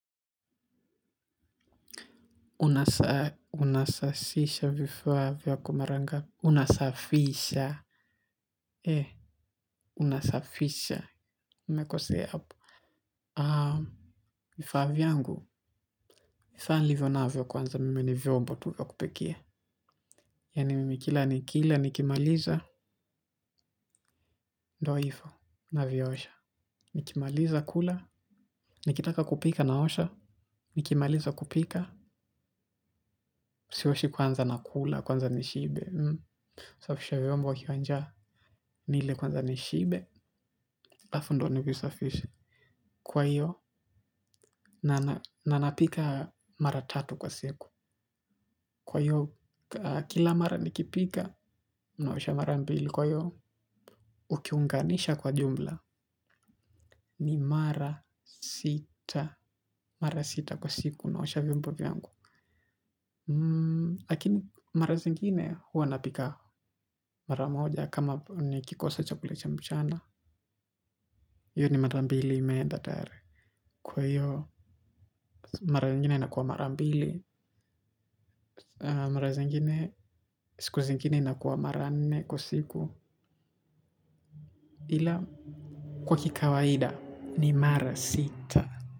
Unasasisha vifaa vyako mara ngapi. Unasafisha ninasafisha nimekosea hapo, vifaa vyangu saa nilivyo navyo ni vyombo tu vya kupikia. Yaani mimi kila nikila nikimaliza Do ifo na viosha. Nikimaliza kula nikitaka kupika na osha. Nikimaliza kupika sioshi kwanza na kula kwanza nishibe. Safisha viombo wakiwa njaa nile kwanza nishibe aLafu ndo ni visafishe. Kwa iyo, nanapika mara tatu kwa siku. Kwa iyo, kila mara nikipika naosha mara mbili. Kwa iyo, ukiunganisha kwa jumla. Ni mara sita. Mara sita kwa siku. Naosha viombo vyangu. Lakini mara zingine huwa napika mara moja. Kama ni kikosa chakula cha mchana. Iyo ni mara mbili imeenda tayari. Kwa iyo, mara zingine nakuwa mara mbili mara zingine siku zingine inakuwa mara nne kwa siku ila kwa kikawaida ni mara sita.